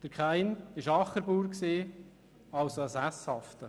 Kain war Ackerbauer, also ein Sesshafter.